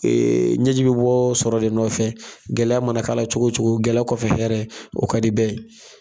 ɲɛji bi bɔ sɔrɔ de nɔfɛ, gɛlɛya mana k'a la cogo o cogo gɛlɛya kɔfɛ ye hɛrɛ ye o kadi bɛɛ ye